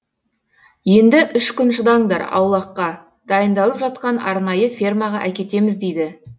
енді үш күн шыдаңдар аулаққа дайындалып жатқан арнайы фермаға әкетеміз дейді